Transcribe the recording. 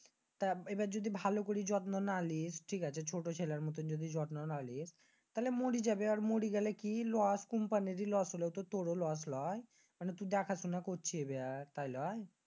তা এইবার যদি ভালো করে যত্ন না লিস ঠিক আছে ছোট ছেলের মত যদি যত্ন না লিস তাইলে মরি যাবি। আর মরি গেলে কি loss company এর ই loss হলে তো তুরও তো loss লয়? মানি তুই দেখা শোনা করচ্ছিস তাই লয়?